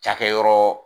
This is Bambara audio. Cakɛyɔrɔ